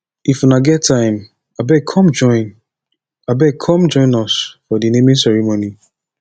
if una get time abeg come join abeg come join us for the naming ceremony